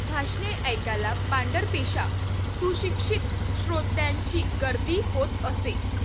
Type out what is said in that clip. भाषणे ऐकायला पांढरपेशा सुशिक्षित श्रोत्यांची गर्दी होत असे.